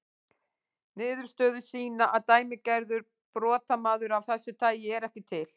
Niðurstöður sýna að dæmigerður brotamaður af þessu tagi er ekki til.